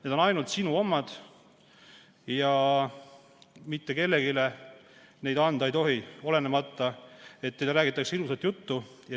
Need on ainult teie omad ja neid ei tohi mitte kellelegi anda, olenemata sellest, et teile räägitakse ilusat juttu.